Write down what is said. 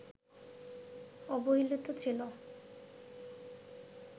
অবহেলিত ছিল